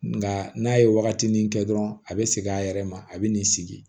Nga n'a ye wagatinin kɛ dɔrɔn a be segin a yɛrɛ ma a be n'i sigi